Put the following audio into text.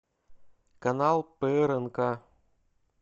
канал прнк